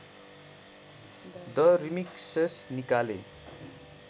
the remixes निकाले